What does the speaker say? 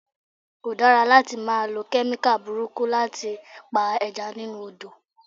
Kò dára láti máa lọ Kẹ́míkà burúkú láti pa Ẹja nínú Odò.